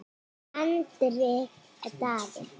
Hendrik Daði.